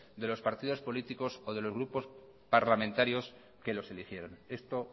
de los partidos políticos o de los grupos parlamentarios que los eligieron esto